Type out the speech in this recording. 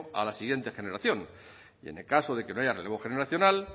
a la siguiente generación y en el caso de que no haya relevo generacional